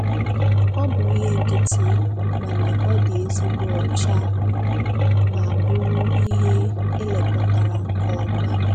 Ọ bụ ihe nkịtị, mana ọ dị ezigbo ọcha ma bụrụ ihe elekọtara nke ọma.